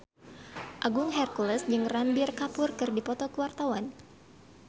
Agung Hercules jeung Ranbir Kapoor keur dipoto ku wartawan